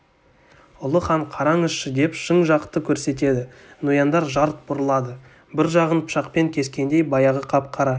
ұлы хан қараңызшы деп шың жақты көрсетеді нояндар жалт бұрылады бір жағын пышақпен кескендей баяғы қап-қара